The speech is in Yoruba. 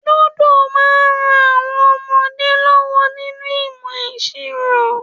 Lúdò máa ń ran àwọn ọmọdé lọ́wọ́ ninu ìmọ̀ ìṣirò